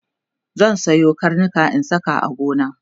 zan Sayo karnika in sa a gona